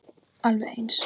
Alveg eins!